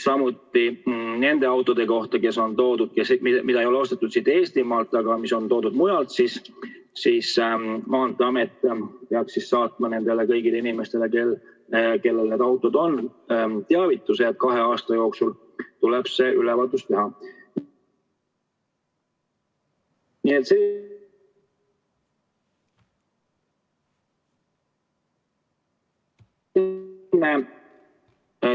Samuti nende autode puhul, mis ei ole ostetud siit Eestimaalt, aga mis on toodud mujalt, peaks Maanteeamet saatma kõikidele nendele inimestele, kellel need autod on, teavituse, et kahe aasta jooksul tuleb see ülevaatus teha.